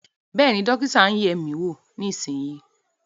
Bẹ́ẹ̀ ni, dókítà ń yẹ̀ ẹ́ wò, èmi nísinsìnyí